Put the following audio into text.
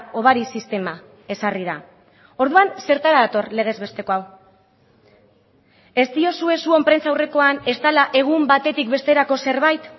hobari sistema ezarri da orduan zertara dator legez besteko hau ez diozue zuen prentsaurrekoan ez dela egun batetik besterako zerbait